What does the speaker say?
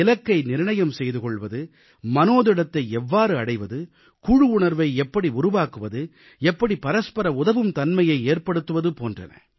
இலக்கை நிர்ணயம் செய்து கொள்வது மனோதிடத்தை எவ்வாறு அடைவது குழு உணர்வை எப்படி உருவாக்குவது எப்படி பரஸ்பர உதவும் தன்மையை ஏற்படுத்துவது போன்றன